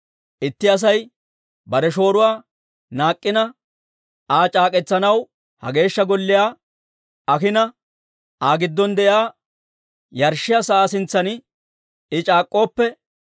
«Itti Asay bare shooruwaa naak'k'ina, Aa c'aak'k'etsanaw ha Geeshsha Golliyaa ayina, Aa giddon de'iyaa yarshshiyaa sa'aa sintsan I c'aak'k'ooppe,